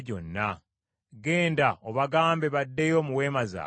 Genda obagambe baddeyo mu weema zaabwe.